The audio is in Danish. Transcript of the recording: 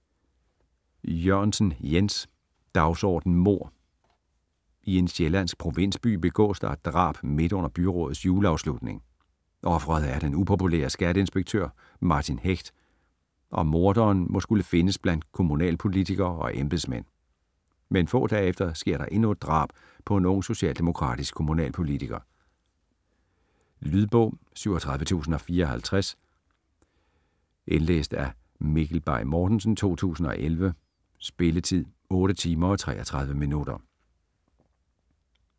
Jørgensen, Jens: Dagsorden mord I en sjællandsk provinsby begås der et drab midt under byrådets juleafslutning. Ofret er den upopulære skatteinspektør Martin Hecht, og morderen må skulle findes blandt kommunalpolitikere og embedsmænd. Men få dage efter sker der endnu et drab på en ung socialdemokratisk kommunalpolitiker. Lydbog 37054 Indlæst af Mikkel Bay Mortensen, 2011. Spilletid: 8 timer, 33 minutter.